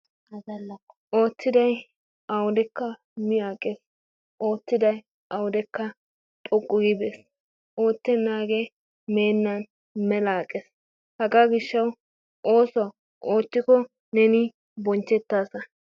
Oottiday awudekka miaqees oottiday awudekka xoqqu giidi de'ees, oottenaagee meenaan mela aqees, hagaa gishshawu oosuwa oottikko neen bonachchetaasa.